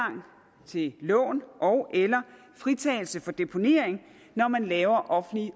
til lån ogeller fritagelse for deponering når man laver offentlig